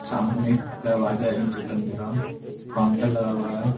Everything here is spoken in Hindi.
सामने में एक दरवाजा है एंट्री करने का काउन्टर लगा हुआ है।